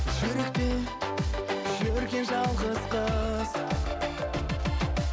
жүректе жүрген жалғыз қыз